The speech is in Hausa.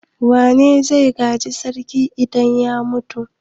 Wa zai gaji sarki idan ya mutu?